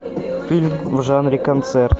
фильм в жанре концерт